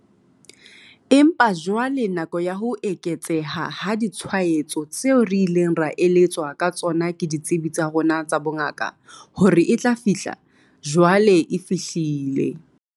Empa jwale nako ya ho eketseha ha ditshwaetso tseo re ileng ra eletswa ka tsona ke ditsebi tsa rona tsa bongaka hore e tla fihla, jwale e fihlile.